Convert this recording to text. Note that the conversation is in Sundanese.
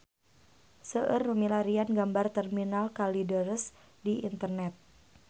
Seueur nu milarian gambar Terminal Kalideres di internet